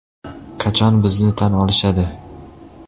Qachon bizni tan olishadi?